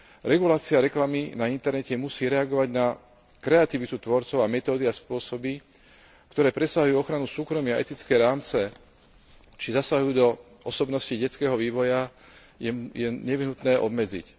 Regulácia reklamy na internete musí reagovať na kreativitu tvorcov a metódy a spôsoby, ktoré presahujú ochranu súkromia, etické rámce či zasahujú do osobnosti detského vývoja, je nevyhnutné obmedziť.